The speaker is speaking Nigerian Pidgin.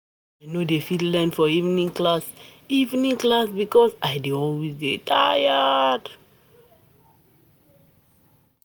I no dey fit learn for evening class evening class because I dey always dey tired.